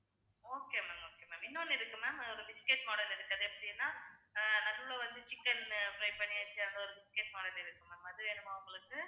okay ma'am okay ma'am இன்னொன்னு இருக்கு ma'am ஒரு biscuit model இருக்கு. அது எப்படினா அஹ் நடுவுல வந்து chicken fry பண்ணி ஒரு biscuit model இருக்கு அது வேணுமா உங்களுக்கு